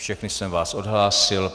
Všechny jsem vás odhlásil.